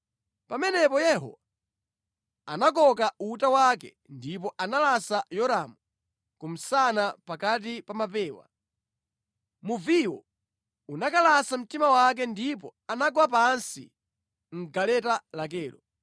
Pamenepo Yehu anakoka uta wake ndipo analasa Yoramu kumsana pakati pa mapewa. Muviwo unakalasa mtima wake ndipo anagwa pansi mʼgaleta lakelo.